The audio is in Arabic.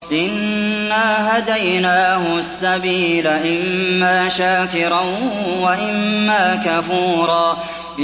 إِنَّا هَدَيْنَاهُ السَّبِيلَ إِمَّا شَاكِرًا وَإِمَّا كَفُورًا